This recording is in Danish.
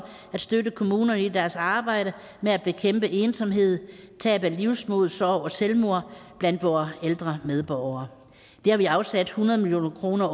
at støtte kommunerne i deres arbejde med at bekæmpe ensomhed tab af livsmod sorg og selvmord blandt vore ældre medborgere det har vi afsat hundrede million kroner